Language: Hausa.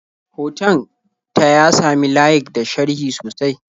Hoton ta ya sami layik da sharhi sosai.